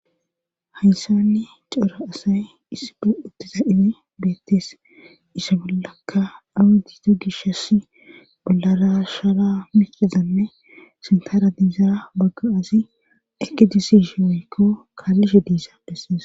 Hayssanni cora asay issibe uttiza ibe beettees isa bollaka awudito gishass bollarashara mikizanne sintara diiza bagga azi ekidisishi weykko kaallishe diisa dhesses.